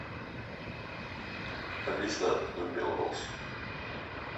алиса открой белрос